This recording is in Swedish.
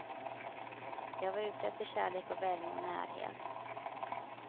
Jag var ute efter kärlek och värme och närhet.